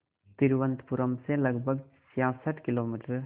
तिरुवनंतपुरम से लगभग छियासठ किलोमीटर